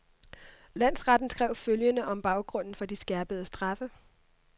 Landsretten skrev følgende om baggrunden for de skærpede straffe.